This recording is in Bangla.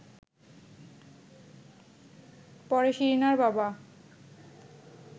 পরে শিরিনার বাবা